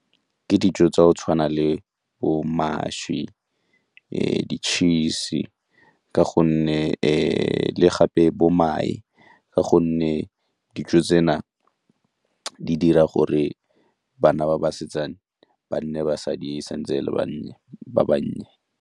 Ke dijo tsa go tshwana le bo mašwi, di-cheese ka gonne le gape bo mae ka gonne dijo tsena di dira gore bana ba basetsana ba nne basadi e sa ntse e le ba bannye.